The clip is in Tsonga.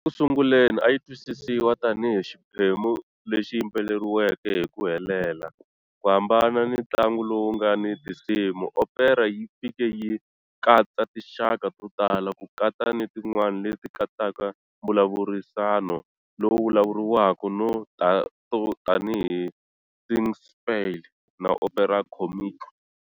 Eku sunguleni a yi twisisiwa tanihi xiphemu lexi yimbeleriwaka hi ku helela, ku hambana ni ntlangu lowu nga ni tinsimu, opera yi fike yi katsa tinxaka to tala, ku katsa ni tin'wana leti katsaka mbulavurisano lowu vulavuriwaka to tanihi Singspiel na Opéra comique.